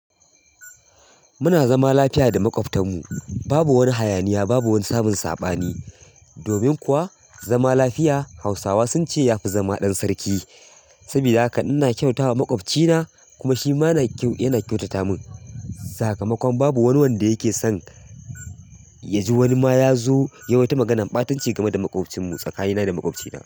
Muna zama lafiya da maƙwabtanmu, babu wani hayaniya, babu wani samun saɓani. Domin kuwa zama lafiya Hausawa sun ce ya fi zama ɗan sarki. Sabida haka ina kyautata wa maƙwabcina kuma shi ma yana kyautata min. Sakamakon babu wani wanda yake son ya ji wani ma ya zo ya waita maganan ɓatanci game da maƙwabcinsu tsakanina da maƙwabcina.